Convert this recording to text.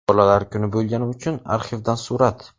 Bolalar kuni bo‘lgani uchun arxivdan surat .